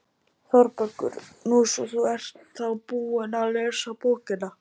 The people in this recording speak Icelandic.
ÞÓRBERGUR: Nú, svo þú ert þá búin að lesa bókina!